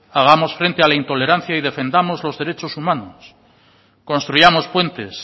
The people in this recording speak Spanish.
hagamos frente a la intolerancia y defendamos los derechos humanos construyamos puentes